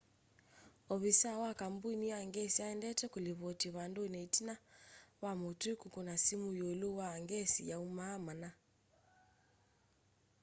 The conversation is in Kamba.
ovisaa wa kambũni ya ngesi aendete kũlivoti vandũnĩ ĩtina wa mũtũi kũkũna simũ ĩũlũ wa ngesi yaumaa mana